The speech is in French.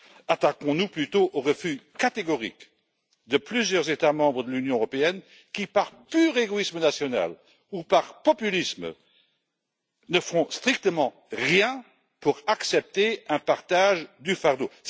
Attaquons nous plutôt au refus catégorique de plusieurs États membres de l'Union européenne qui, par pur égoïsme national ou par populisme, ne font strictement rien pour accepter un partage du fardeau.